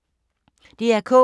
DR K